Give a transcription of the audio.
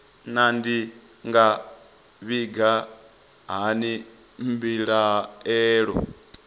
naa ndi nga vhiga hani mbilaelo